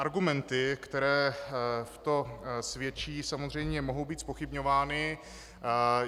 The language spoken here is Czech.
Argumenty, které pro to svědčí, samozřejmě mohou být zpochybňovány.